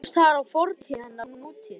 Kannski rákust þar á fortíð hennar og nútíð.